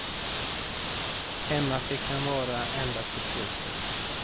Hemma fick han vara ända till slutet.